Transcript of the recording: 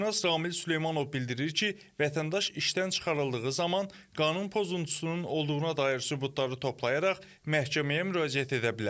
Hüquqşünas Ramil Süleymanov bildirir ki, vətəndaş işdən çıxarıldığı zaman qanun pozuntusunun olduğuna dair sübutları toplayaraq məhkəməyə müraciət edə bilər.